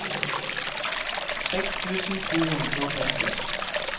seks tusen to hundre og femti